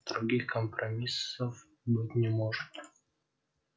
других компромиссов быть не может